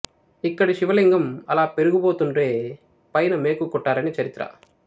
ఇక్కడి శివలింగం అలా పెరిగి పోతుంటే పైన మేకు కొట్టారని చరిత్ర